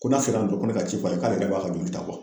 Ko n'a sera dɔrɔn ko ne ka ci fɔ k'ale yɛrɛ b'a ka joli ta